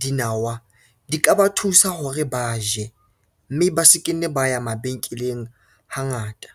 dinawa di ka ba thusa hore ba je, mme ba se ke nne ba ya mabenkeleng hangata.